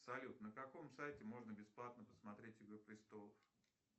салют на каком сайте можно бесплатно посмотреть игру престолов